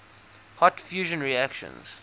hot fusion reactions